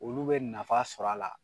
Olu be nafa sɔrɔ a la